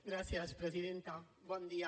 gràcies presidenta bon dia